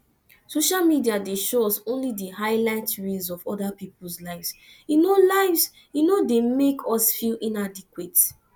social media dey show us only di highlight reels of oda peoples lives e no lives e no dey make us feel inadequate